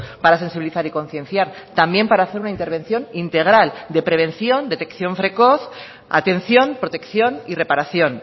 para sensibilizar y concienciar también para hacer una intervención integral de prevención detección precoz atención protección y reparación